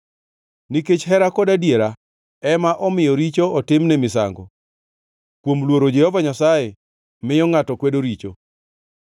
Nikech hera kod adiera ema omiyo richo otimne misango, kuom luoro Jehova Nyasaye miyo ngʼato kwedo richo.